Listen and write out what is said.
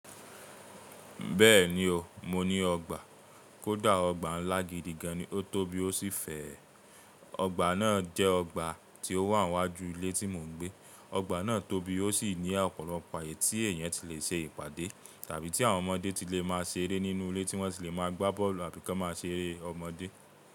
Bẹ́ẹ̀ni o, mo ní ọgbà. Kódà ọgbà ńlá gidi gan, o tó bí ó sì fè ẹ. Ọgbà náà jẹ́ ọgbà tí ó wà níwájú ilé tí mò ń gbé. Ọgbà náà tóbi, ó sì ní ọ̀pọ̀lọpọ̀ àyè tí èèyàn ti le ṣe ìpàdé tàbí tí àwọn ọmọdé ti lè má a ṣeré nínú ilé tí wọ́n ti le má a gbá bọ́ọ̀lù àbí ka máa ṣeré ọmọdé.